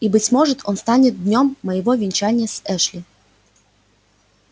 и быть может он станет днём моего венчания с эшли